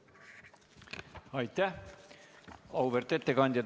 Suur tänu, auväärt ettekandja!